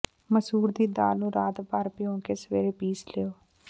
ਮਸੂਰ ਦੀ ਦਾਲ ਨੂੰ ਰਾਤ ਭਰ ਭਿਓ ਕੇ ਸਵੇਰੇ ਪੀਸ ਲਓ